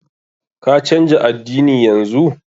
Ka canja addini yanzu!